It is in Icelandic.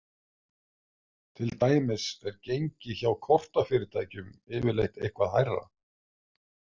Til dæmis er gengi hjá kortafyrirtækjum yfirleitt eitthvað hærra.